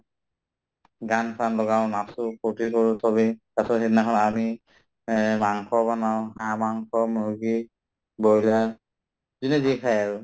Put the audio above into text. গান-চান লগাও নাচো ফূৰ্তি কৰো চবেই তাৰপাছত সেইদিনাখন আমি এহ মাংস বনাওঁ হাঁহ মাংস, মুৰ্গী, broiler যোনে যি খাই আৰু